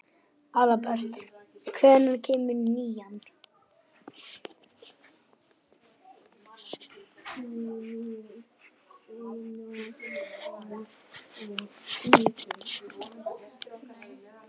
Aðalbert, hvenær kemur nían?